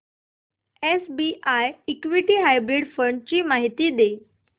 SBI equity hybrid fund ची माहिती दे